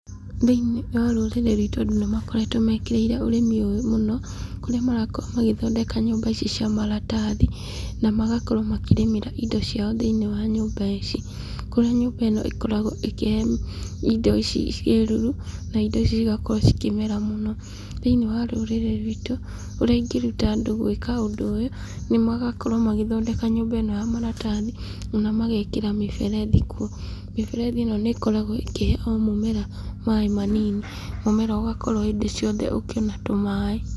Thĩiniĩ wa rũrĩrĩ rwitũ andũ nĩ makoretwo mekĩrĩire ũrĩmi ũyũ mũno, kũrĩa marakorwo magĩthondeka nyũmba ici cia maratathi na magakorwo makĩrĩmĩra indo ciao thĩiniĩ wa nyũmba ici, kũrĩa nyũmba ĩno ĩkoragwo ĩkĩhe indo ici kĩruru na indo ici cigakorwo cikĩmera mũno.Thĩiniĩ wa rũrĩrĩ rwitũ, ũrĩa ingĩruta andũ gwĩka ũndũ ũyũ, nĩmagakorwo magĩthondeka nyũmba ĩno ya maratathi na magekĩra mĩberethi kuo. Mĩberethi ĩno nĩ ĩkoragwo ĩkĩhe o mũmera maaĩ manini, mũmera ũgakorwo hĩndĩ ciothe ũkĩona tũmaaĩ.